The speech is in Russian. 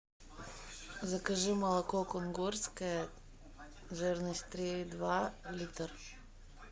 закажи молоко кунгурское жирность три и два литр